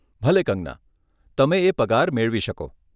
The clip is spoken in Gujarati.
ભલે કંગના, તમે એ પગાર મેળવી શકો.